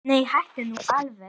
Nei, hættu nú alveg.